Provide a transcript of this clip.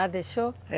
Ah, deixou?